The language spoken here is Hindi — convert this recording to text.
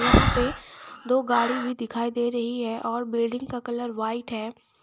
यहां पे दो गाड़ी भी दिखाई दे रही है और बिल्डिंग का कलर व्हाइट है।